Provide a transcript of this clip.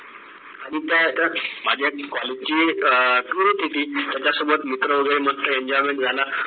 आणि त्या त्या माझ्या college ची अं tour होती ह्यांच्यासोबत मित्र वगैरे enjoyment झाला